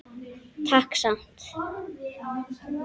Takk samt.